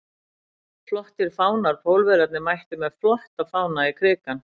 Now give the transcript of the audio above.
Flottir fánar Pólverjarnir mættu með flotta fána í Krikann.